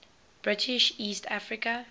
british east africa